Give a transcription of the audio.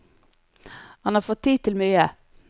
Han har fått tid til mye.